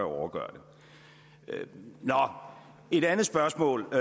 overgøre det et andet spørgsmål